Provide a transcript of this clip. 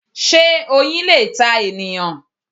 Sé Oyin le ta ènìyàn